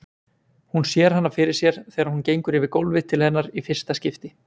Hún sér hana fyrir sér þegar hún gengur yfir gólfið til hennar í fyrsta skipti.